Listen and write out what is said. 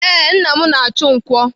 Ee, nna m na-achụ nkwọ.